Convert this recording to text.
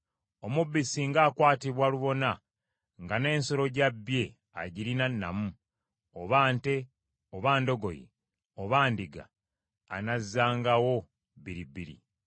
“Omubbi singa akwatibwa lubona nga n’ensolo gy’abbye agirina nnamu, oba nte, oba ndogoyi oba ndiga, anazzangawo bbiri bbiri.